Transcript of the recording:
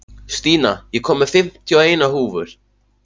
Stína, ég kom með fimmtíu og eina húfur!